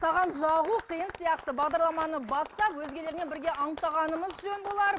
саған жағу қиын сияқты бағдарламаны бастап өзгелермен бірге анықтағанымыз жөн болар